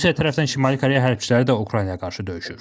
Rusiya tərəfindən Şimali Koreya hərbçiləri də Ukraynaya qarşı döyüşür.